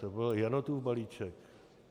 To byl Janotův balíček.